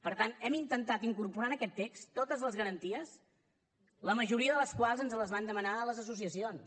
per tant hem intentar incorporar en aquest text totes les garanties la majoria de les quals ens les van demanar les associacions